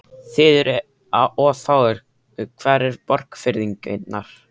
Þið eruð of fáir, hvar eru Borgfirðingarnir?